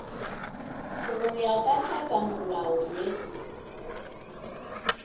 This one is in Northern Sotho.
go ya ka tlhakamolao ye